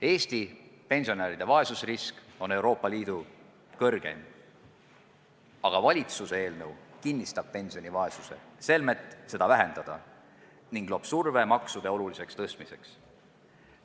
Eesti pensionäride vaesusrisk on Euroopa Liidu suurim, aga valitsuse eelnõu kinnistab pensionivaesust, selmet seda vähendada, ning loob surve maksude oluliseks suurendamiseks.